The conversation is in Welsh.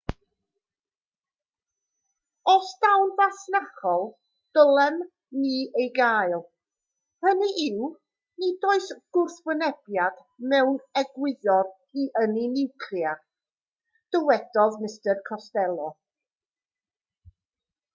os daw'n fasnachol dylem ni ei gael hynny yw nid oes gwrthwynebiad mewn egwyddor i ynni niwclear dywedodd mr costello